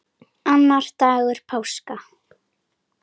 Annar dagur páska.